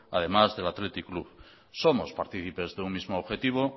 además del athletic club somos participes de un mismo objetivo